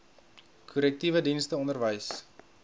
korrektiewe dienste onderwys